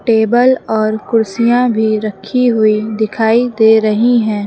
Table और कुर्सियां भी रखी हुई दिखाई दे रही है।